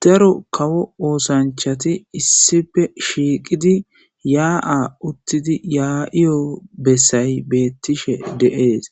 Daro kawo oosanchati issife shiiqidi yaa'a uttidi yaa'iyo bessay beettishe de'ees